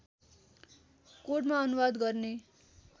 कोडमा अनुवाद गर्ने